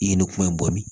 I ye ne kuma in bɔ min